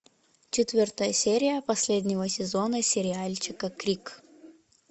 четвертая серия последнего сезона сериальчика крик